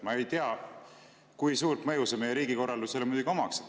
Ma ei tea, kui suurt mõju see meie riigikorraldusele muidugi omaks.